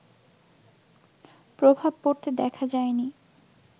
প্রভাব পড়তে দেখা যায়নি